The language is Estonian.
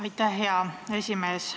Aitäh, hea esimees!